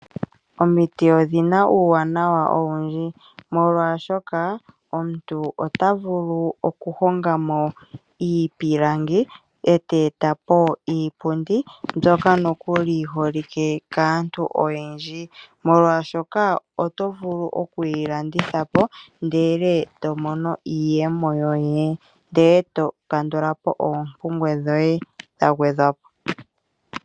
Omiti odhina uuwanawa owundji molwaashoka omuntu ota vulu okuhonga mo iipilangi eta eta po iipundi mbyoka nokuli yi holike kaantu oyendji. Molwaashoka oto vulu oku yilanditha po ndele eto mono iiyemo yoye ndele eto kandula po oompumbwe dhoye dha gwedhwa po.